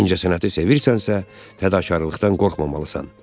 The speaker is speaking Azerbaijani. İncəsənəti sevirsənsə, fədakarlıqdan qorxmamalısan.